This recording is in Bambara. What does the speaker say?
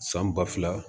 San ba fila